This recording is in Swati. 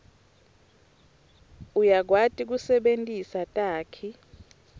uyakwati kusebentisa takhi